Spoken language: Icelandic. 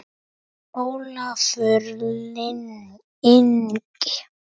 Ólafur Ingi.